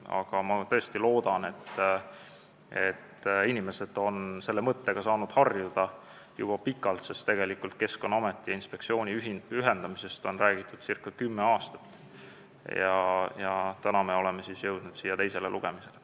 Aga inimesed on selle liitmise mõttega saanud harjuda juba pikalt, sest Keskkonnaameti ja inspektsiooni ühendamisest on räägitud ca kümme aastat ja täna me oleme jõudnud eelnõuga teisele lugemisele.